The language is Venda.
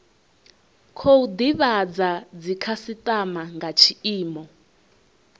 khou divhadza dzikhasitama nga tshiimo